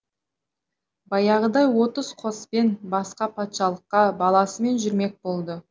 баяғыдай отыз қоспен басқа патшалыққа баласымен жүрмек болды